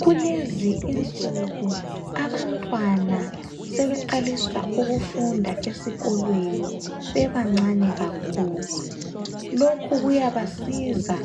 Kulezi insuku , abantwana sebeqalisa ukufunda esikolweni bebancane kakhulu. Lokhu kuyabasiza